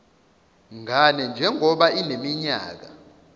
ngane njengoba ineminyaka